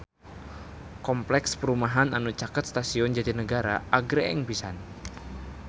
Kompleks perumahan anu caket Stasiun Jatinegara agreng pisan